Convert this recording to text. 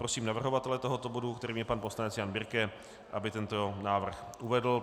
Prosím navrhovatele tohoto bodu, kterým je pan poslanec Jan Birke, aby tento návrh uvedl.